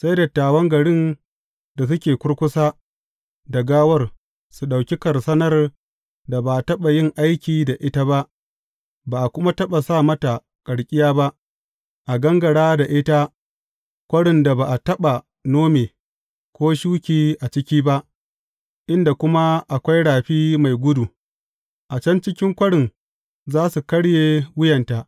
Sai dattawan garin da suke kurkusa da gawar su ɗauki karsanar da ba a taɓa yin aiki da ita ba, ba a kuma taɓa sa mata karkiya ba, a gangara da ita kwarin da ba a taɓa nome, ko shuki a ciki ba, inda kuma akwai rafi mai gudu, a can cikin kwarin za su karye wuyanta.